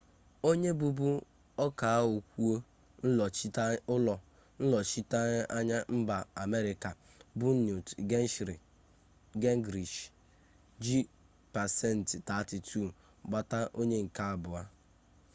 onye bụbu ọkaokwu ụlọnnọchiteanya mba amerịka bụ newt gingrich ji pasentị 32 gbata onye nke abụọ